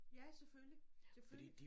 Ja selvfølgelig selvfølgelig